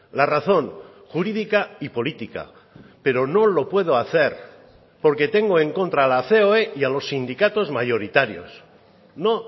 la razón jurídica y política pero no lo puedo hacer porque tengo en contra la coe y a los sindicatos mayoritarios no